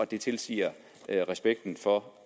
det tilsiger respekten for